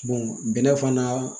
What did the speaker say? bɛnɛ fana